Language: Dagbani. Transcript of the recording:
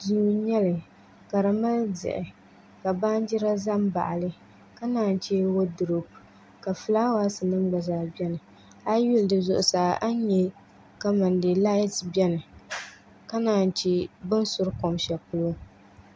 Duu n nyɛli ka di mali diɣi ka baanjira ʒɛ n baɣali ka naan chɛ woodurop ka fulaawaasi nim gba zaa biɛni a yi yuli di zuɣusaa a ni nyɛ kamani dee laati biɛni ka naan yi chɛ bi ni suri kom shɛli pɔlɔ